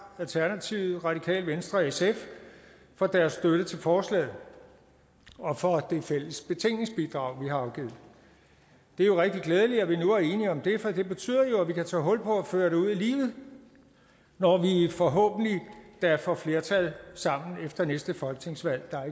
alternativet radikale venstre og sf for deres støtte til forslaget og for det fælles betænkningsbidrag vi har afgivet det er rigtig glædeligt at vi nu er enige om det for det betyder jo at vi kan tage hul på at føre det ud i livet når vi forhåbentlig da får flertal sammen efter næste folketingsvalg der er